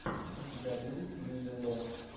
у тебя будет лили ло